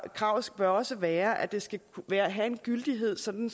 kravet bør også være at det skal have en gyldighed sådan